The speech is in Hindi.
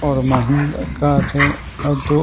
और महिंद्रा कार है और दो--